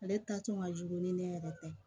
Ale ta kun ka jugu ni ne yɛrɛ tɛ